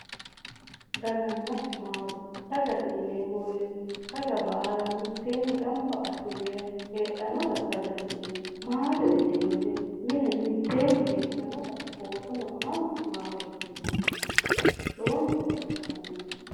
Daganna maate, dagate yineemmo woyte daga baalla mittenni gamba assine heedhanotta dagate yineemmo. maatete yineemmo woyte mine mitteenni heedhanotta oosono amano maatete yineemmo lowonta baxisano